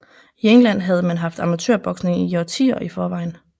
I England havde man haft amatørboksning i årtier i forvejen